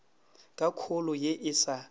ka kholo ye e sa